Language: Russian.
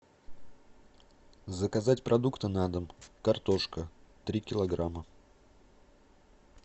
заказать продукты на дом картошка три килограмма